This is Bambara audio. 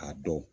A dɔw